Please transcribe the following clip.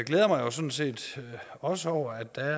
jeg mig sådan set også over at der